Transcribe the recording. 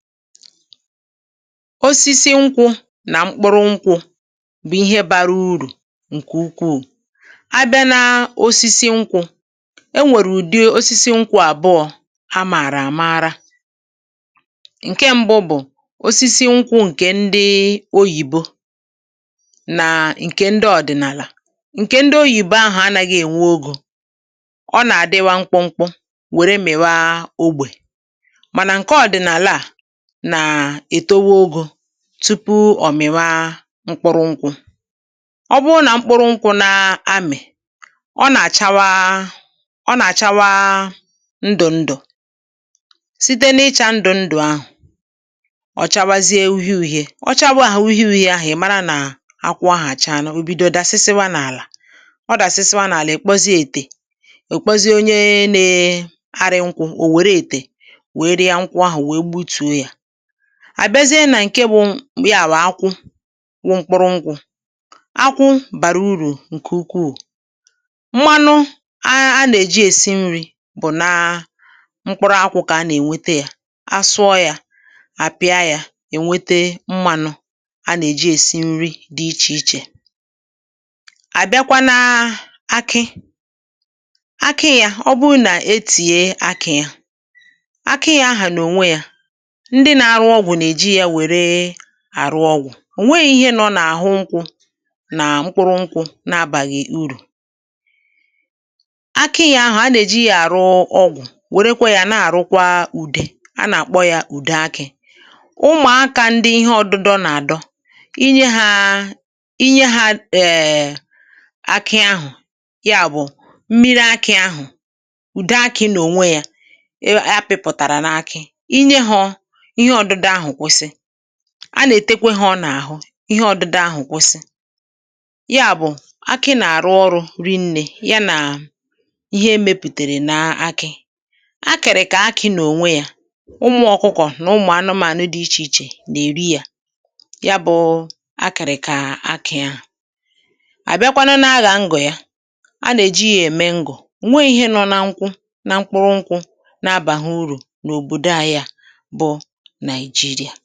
Osisi nkwụ̇ nà mkpụrụ nkwụ̇ bụ̀ ihe bȧrȧ urù ǹkè ukwuù. Abịa n’osisi nkwụ̇, enwèrè ùdié osisi nkwụ̇ àbụọ̇. Amàrà àmaara ǹke ṁbụ̇ bụ̀ osisi nkwụ̇ ǹkè ndị oyìbo nàà ǹkè ndị ọ̀dị̀nàlà. ǹkè ndị oyìbo ahụ̀ anȧghị̇ ènwe ogȯ, um ọ nà-àdịwa nkwụ nkwụ, wère mìwa ogbè. Mànà ǹke ọ̀dị̀nàlà nàà ètowa ogȯ tupu ọ̀ mìwa mkpụrụ nkwụ̇.Ọ bụrụ nà mkpụrụ nkwụ̇ na-amị̀, ọ nà-àchawa, ọ nà-àchawa ndụ̀ ndụ̀. Site n’ịchȧ ndụ̀ ndụ̀ ahụ̀, um ọ chawazie uhie uhi̇ė, ọ chawazie ahà uhi uhi̇ė ahụ̀. Ị̀ mara nà akwụ̇ ahà acha, nà o bido dasịsịwa n’àlà. Ọ dàsịsịwa n’àlà, um ị̀ kpozie ètè, ọ̀ kpozie onye nė arị̇ nkwụ̇. Ò wère ètè, wère ya nkwụ ahụ̀, wèe gbu tùo yȧ, àbịazie nà ǹke bụ ya. Bụ̀ akwụ wụ mkpụrụ ngwụ̇, um akwụ̇ bàrà urù ǹkè ukwuu. Mmanụ a nà-èji èsi nri̇ bụ̀ nà mkpụrụ akwụ̇. Kà a nà-ènwete yȧ, asụọ yȧ, àpịa yȧ, ènwete mmanụ a nà-èji èsi nri dị ichè ichè. À bịakwa n’akị akị yȧ. Ọ bụrụ nà etìye akị̇, yȧ akị yȧ ahà n’ò nwe yȧ àrụ ọgwụ̀, ò nweghi ihe nọ nà-àhụ. Nkwụ̇ nà mkpụrụ nkwụ̇ na-abàghị̀ urù, um akị yȧ ahụ̀ a nà-èji yȧ àrụ ọgwụ̀. Wèrekwa yȧ, na-àrụkwa ùdè, a nà-àkpọ yȧ ùde akị̇. Ụmụ̀akȧ ndị ihe ọdụdụ nà-àdọ inye hȧ, inye hȧ. Ee, akị ahụ̀, ya bụ̀ mmiri akị̇ ahụ̀, ùde akị̇, nà ònwe yȧ, um ya pịpụ̀tàrà n’akị. A nà-ètekwe hȧ, ọ nà-àhụ ihe ọ̇dụ̇dȧ ahụ̀ kwụsị. Ya bụ̀ akị nà-àrụ ọrụ̇ rị nnė ya, nà ihe emėpùtèrè nà akị̇ akịrị̀.Kà akị nà-ònwe yȧ, ụmụ̇ ọkụkọ̀ nà ụmụ̀ anụmȧnụ dị̇ ichè ichè nà èri yȧ. Ya bụ̇ọ̇ akị̇rị̇, kà akị ahụ̀ à àbịakwanụ nà aghà ngọ̀ ya. um A nà-èji yȧ ème ngọ̀. Nwe ihe nọ na nkwụ na mkpụrụ nkwụ, na-abàghị urù nà òbòdo ahịȧ jirià.